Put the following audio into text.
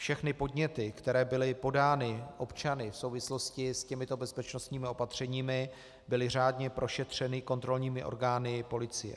Všechny podněty, které byly podány občany v souvislosti s těmito bezpečnostními opatřeními, byly řádně prošetřeny kontrolními orgány policie.